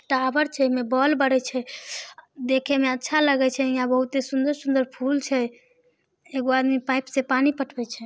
Towers छे में wall बने छे देखे में अच्छा लगल छे बहुत ही सुन्दर-सुन्दर फुल छे एक आदमी पाइप से पानी पटके छे।